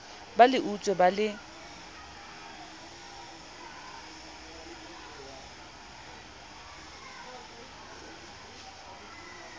ba le utswe ba le